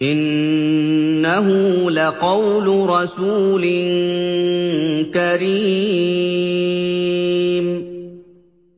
إِنَّهُ لَقَوْلُ رَسُولٍ كَرِيمٍ